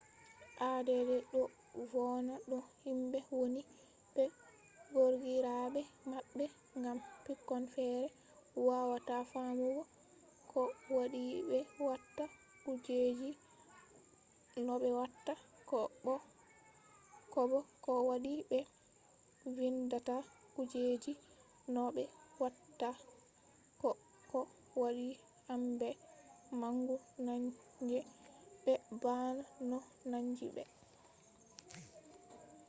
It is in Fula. add do vonna no himbe woni be gorgirabe mabbe gam pikkon fere wawata famugo ko wadi be watta kujeji no be watta ko bo ko wadi be vindata kujeji no be watta ko ko wadi hambe mangu nange be bana no nangi be